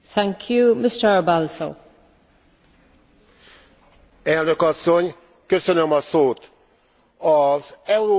Elnök Asszony, köszönöm a szót! Az európai szemeszterről szóló jelentést elvi alapon utasítom el.